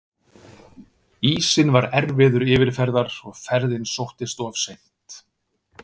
Ísinn var erfiður yfirferðar og ferðin sóttist of seint.